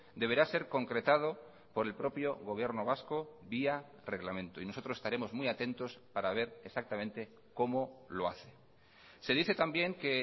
deberá ser concretado por el propio gobierno vasco vía reglamento y nosotros estaremos muy atentos para ver exactamente cómo lo hace se dice también que